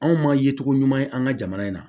Anw ma ye cogo ɲuman ye an ka jamana in na